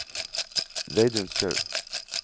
Reidun Skaug